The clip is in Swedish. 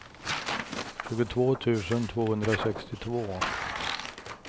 tjugotvå tusen tvåhundrasextiotvå